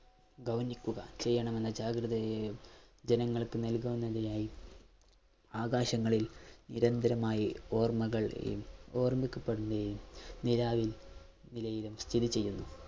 ഗൗനിക്കുക ചെയ്യണമെന്ന് ജാഗ്രതയെ ജനങ്ങൾക്ക് നൽകുന്നതിനായി ആകാശങ്ങളിൽ നിരന്തരമായി ഓർമ്മകൾ ഓർമ്മിക്കപ്പെടുകയും നിലാവിൽ നിലയിലും സ്ഥിതി ചെയ്യുന്നു.